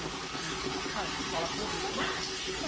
Não tinha não tinha aula, claro, escola pública né.